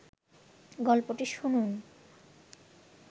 গল্পটি শুনুন